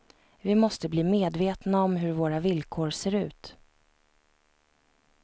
Vi måste bli medvetna om hur våra villkor ser ut.